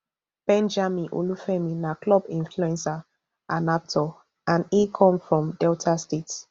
benjamin olufemi na club influencer and actor and e come from delta state